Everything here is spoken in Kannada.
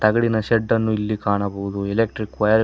ತಗಡಿನ ಶೆಡ್ಡನ್ನು ಇಲ್ಲಿ ಕಾಣಬಹುದು ಎಲೆಕ್ಟ್ರಿಕ್ ವಯರ್ --